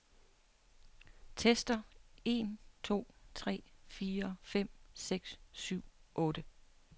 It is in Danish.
Tester en to tre fire fem seks syv otte.